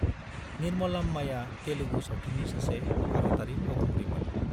निर्मलाम्माया तेलुगु सावथुननि सासे भारतारि फावखुंग्रिमोन।